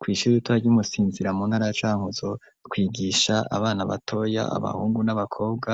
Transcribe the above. Kw'ishuru ry'umusinzira muntaracanuzo twigisha abana batoya abahungu n'abakobwa